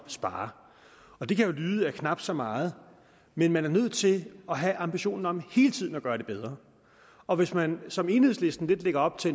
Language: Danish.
spare og det kan jo lyde af knap så meget men man er nødt til at have ambitionen om hele tiden at gøre det bedre og hvis man som enhedslisten lidt lægger op til